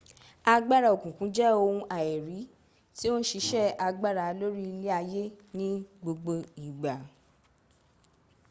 agbara okunkun je ohun aiiri ti o n sise agbara lori ile aye ni gbogbo igba